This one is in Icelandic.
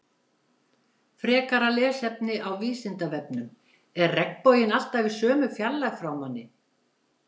Frekara lesefni á Vísindavefnum Er regnbogi alltaf í sömu fjarlægð frá manni?